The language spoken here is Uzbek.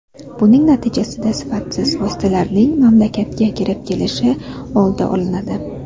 Buning natijasida sifatsiz vositalarning mamlakatga kirib kelishi oldi olinadi”.